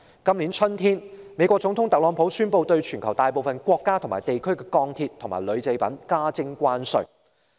今年春天，美國總統特朗普宣布對全球大部分國家和地區的鋼鐵及鋁製品加徵關稅。